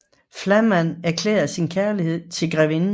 Flamand erklærer sin kærlighed til grevinden